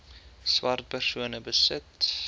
swart persone besit